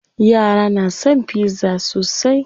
Yara na son pizza sosai.